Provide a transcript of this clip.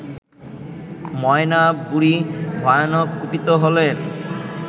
ময়না বুড়ি ভয়ানক কুপিত হলেন